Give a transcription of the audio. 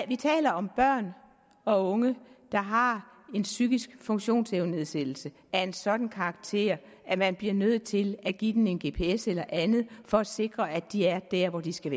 vi taler om børn og unge der har psykiske funktionsevnenedsættelser af en sådan karakter at man bliver nødt til at give dem en gps eller andet for at sikre at de er der hvor de skal